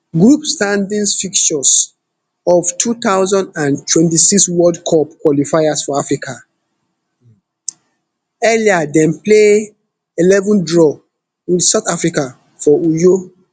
group standings fixtures of two thousand and twenty-six world cup qualifiers for africa earlier dem play eleven draw with south africa for uyo